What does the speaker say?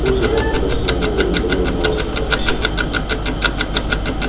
после завтрака сноуболл и наполеон снова созвали всех